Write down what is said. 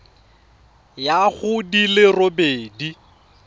ya go di le robedi